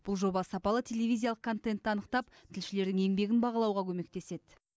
бұл жоба сапалы телевизиялық контентті анықтап тілшілердің еңбегін бағалауға көмектеседі